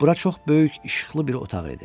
Bura çox böyük, işıqlı bir otaq idi.